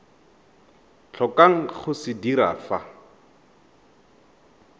tlhokang go se dira fa